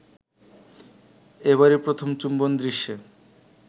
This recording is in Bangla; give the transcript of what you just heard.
এবারই প্রথম চুম্বন দৃশ্যে